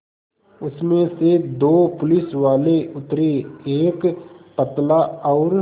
उसमें से दो पुलिसवाले उतरे एक पतला और